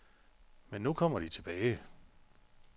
Men nu kommer de tilbage.